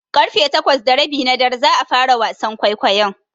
Ƙarfe takwas da rabi na dare za a fara wasan kwaikwayon.